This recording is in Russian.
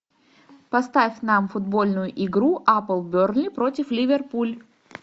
поставь нам футбольную игру апл бернли против ливерпуль